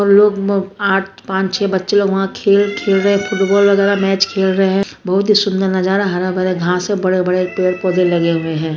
उन लोग म आठ पाँच छे बच्चे लोग वहाँ खेल खेल रहे है फुटबाल वगेरह मैच खेल रहे है बहुत ही सुंदर नज़ारा हरा-भरा घास है बड़े-बड़े पेड़ पौधे लगे हुए है।